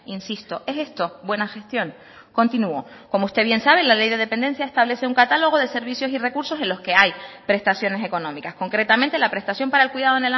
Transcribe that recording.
insisto es esto buena gestión continúo como usted bien sabe la ley de dependencia establece un catálogo de servicios y recursos en los que hay prestaciones económicas concretamente la prestación para el cuidado